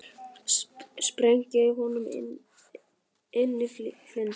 Sprengja í honum innyflin.